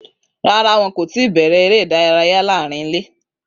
Rárá, wọn kò tí ì bẹ̀rẹ̀ eré ìdárayá láàárín ilé.